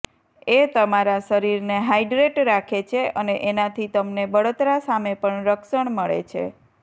એ તમારા શરીરને હાઇડ્રેટ રાખે છે અને એનાથી તમને બળતરા સામે પણ રક્ષણ મળે છે